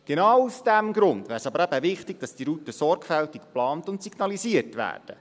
Genau aus diesem Grund wäre es aber eben wichtig, dass diese Routen sorgfältig geplant und signalisiert werden.